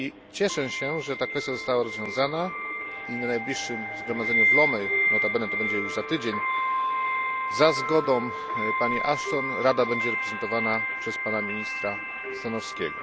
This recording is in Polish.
Cieszę się, że ta kwestia została rozwiązana i na najbliższym Zgromadzeniu w Lomeé, notabene będzie to już za tydzień, za zgodą pani Ashton Rada będzie reprezentowana przez pana ministra Stanowskiego.